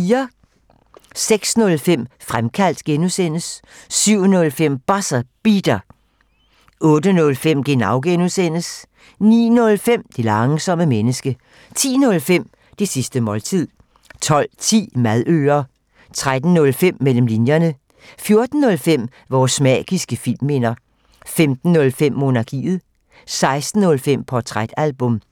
06:05: Fremkaldt (G) 07:05: Buzzer Beater 08:05: Genau (G) 09:05: Det langsomme menneske 10:05: Det sidste måltid 12:10: Madøre 13:05: Mellem linjerne 14:05: Vores magiske filmminder 15:05: Monarkiet 16:05: Portrætalbum